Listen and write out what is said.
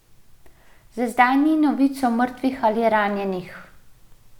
Za zdaj ni novic o mrtvih ali ranjenih.